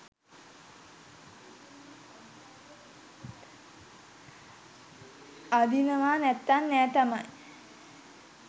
අඳිනව නැත්තං නෑ තමයි